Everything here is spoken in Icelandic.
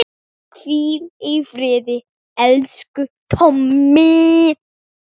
Hvíl í friði, elsku Tommi.